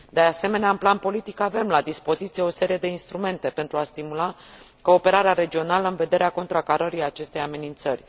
De asemenea, în plan politic, avem la dispoziție o serie de instrumente pentru a stimula cooperarea regională, în vederea contracarării acestei amenințări.